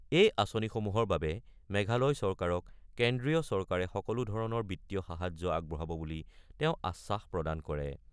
এই আঁচনিসমূহৰ বাবে মেঘালয় চৰকাৰক কেন্দ্ৰীয় চৰকাৰে সকলো ধৰণৰ বিত্তীয় সাহায্য আগবঢ়াব বুলি তেওঁ আশ্বাস প্ৰদান কৰে।